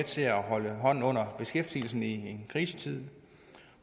til at holde hånden under beskæftigelsen i en krisetid